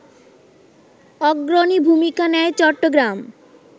অগ্রণী ভূমিকা নেয় চট্টগ্রাম